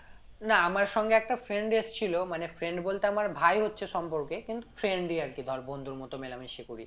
না আমার সঙ্গে একটা friend এসছিলো মানে friend বলতে আমার ভাই হচ্ছে সম্পর্কে কিন্তু friend ই আর কি ধর বন্ধুর মত মেলামেশা করি